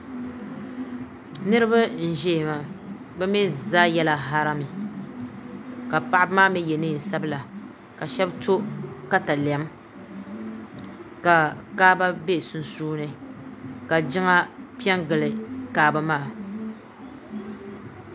Niriba n ʒɛya maa bi mi zaa yɛla harami ka paɣaba maa mi yɛ niɛn sabila ka shɛba to katalɛm ka kaaba bɛ sunsuuni ka jiŋa pɛ n gili kaaba maa.